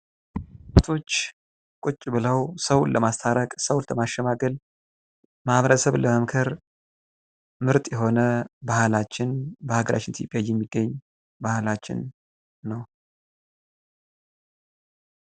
ቄሶች ቁጭ ብለው ሰዎችን ለማስታረቅ ፣ ለማሸማገል እና ማህበረሰቡን ለመምከር በኢትዮጵያ የሚገኝ ምርጥ የሆነ ባህላችን ነው።